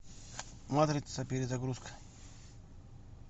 матрица перезагрузка